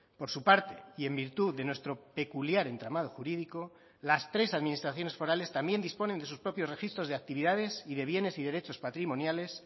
por su parte y en virtud de nuestro peculiar entramado jurídico las tres administraciones forales también disponen de sus propios registros de actividades y de bienes y derechos patrimoniales